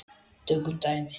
Tökum dæmi: